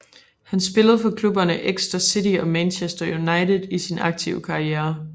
Han spillede for klubberne Exeter City og Manchester United i sin aktive karriere